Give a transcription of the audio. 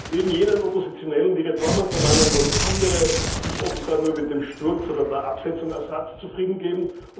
Neben jenen Oppositionellen, die Reformen verlangen, wollen andere sich offenbar nur mit dem Sturz oder der Absetzung Assads zufrieden geben.